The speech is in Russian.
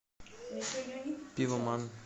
пивоман